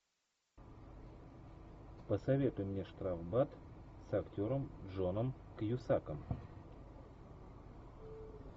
посоветуй мне штрафбат с актером джоном кьюсаком